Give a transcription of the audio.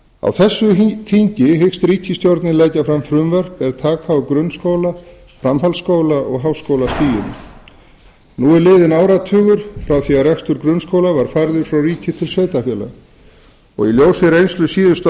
á þessu þingi hyggst ríkisstjórnin leggja fram frumvörp er taka til grunnskóla framhaldsskóla og háskólastigsins áratugur er liðinn frá því að rekstur grunnskóla var færður frá ríki til sveitarfélaga í ljósi reynslu síðustu tíu